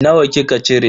Nawa kika cire?